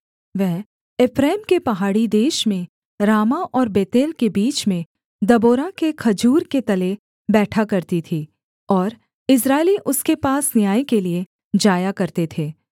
वह एप्रैम के पहाड़ी देश में रामाह और बेतेल के बीच में दबोरा के खजूर के तले बैठा करती थी और इस्राएली उसके पास न्याय के लिये जाया करते थे